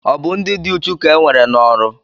Ọ bụ ndị dị uchu ka nwere n'oru